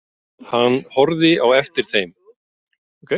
Hann horfði á eftir þeim.